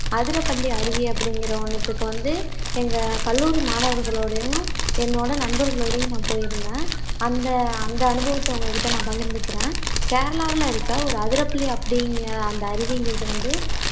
அதிரப்பள்ளி அருவி அப்படிங்குற ஒண்ணுத்துக்கு வந்து எங்க கல்லூரி மாணவர்களோடயும் என்னோட நண்பர்களோடயும் நான் போயிருந்தேன் அந்த அந்த அனுபவத்தை உங்ககிட்ட நான் பகிர்ந்துக்கிறேன் கேரளாவுல இருக்க ஒரு அதிரப்பள்ளி அப்படிங்குற அந்த அருவிங்குறது வந்து